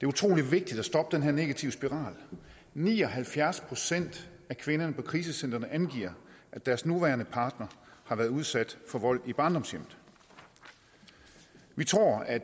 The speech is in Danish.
utrolig vigtigt at stoppe denne negative spiral ni og halvfjerds procent af kvinderne på krisecentrene angiver at deres nuværende partner har været udsat for vold i barndomshjemmet vi tror at